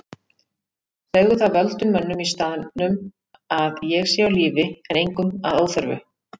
Segðu það völdum mönnum í staðnum að ég sé á lífi en engum að óþörfu.